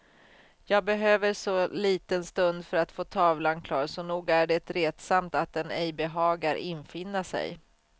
Jag behöver så liten stund för att få tavlan klar, så nog är det retsamt att den ej behagar infinna sig.